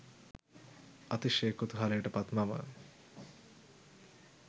අතිශය කුතුහලයට පත් මම